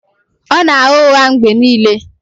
Ọ na-agha ụgha mgbe niile